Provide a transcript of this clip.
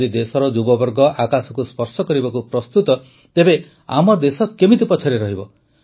ଯଦି ଦେଶର ଯୁବବର୍ଗ ଆକାଶକୁ ସ୍ପର୍ଶ କରିବାକୁ ପ୍ରସ୍ତୁତ ତେବେ ଆମ ଦେଶ କେମିତି ପଛରେ ରହିବ